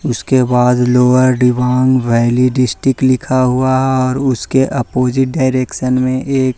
उसके बाद lower Dibang valley district लिखा हुआ है और उसके ऑपोजिट डायरेक्शन में एक--